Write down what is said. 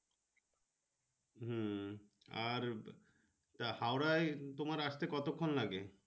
হম আর হাওড়ায় তোমার আস্তে কতক্ষন লাগে।